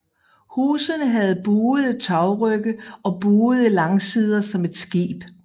Husene havde buede tagrygge og buede langsider som et skib